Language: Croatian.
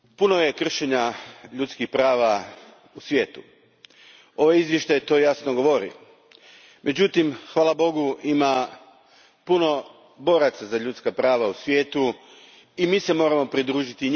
Gospodine predsjedniče, puno je kršenja ljudskih prava u svijetu. Ovo izvješće to jasno govori. Međutim, hvala Bogu, ima puno boraca za ljudska prava u svijetu i mi im se moramo pridružiti.